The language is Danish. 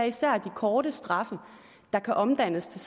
især er de korte straffe der kan omdannes til